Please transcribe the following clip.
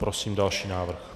Prosím další návrh.